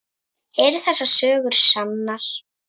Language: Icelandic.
Eru þessar sögur sannar?